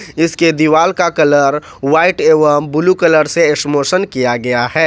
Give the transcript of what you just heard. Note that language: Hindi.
इसके दीवाल का कलर व्हाइट एवं ब्लू कलर से स्मोसन किया गया है।